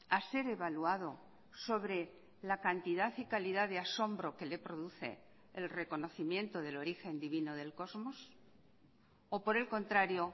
a ser evaluado sobre la cantidad y calidad de asombro que le produce el reconocimiento del origen divino del cosmos o por el contrario